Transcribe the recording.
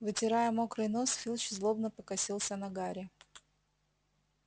вытирая мокрый нос филч злобно покосился на гарри